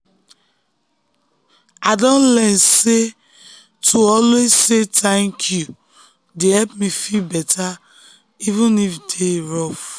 i don learn sey to dey always say 'thank you' dey help me feel better even if the day rough.